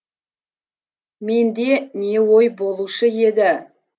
менде не ой болушы еді